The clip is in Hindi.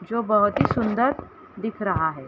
जो बहुत ही सुन्‍दर दिख रहा हैं।